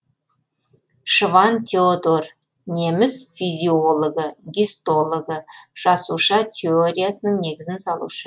шванн теодор неміс физиологы гистологы жасуша теориясының негізін салушы